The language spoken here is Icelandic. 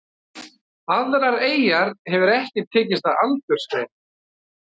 Aðrar eyjar hefur ekki tekist að aldursgreina.